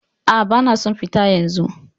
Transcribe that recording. Aa, bana son fita yanzu